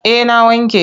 Eh na wanke.